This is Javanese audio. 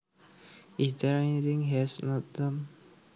Is there anything he has not done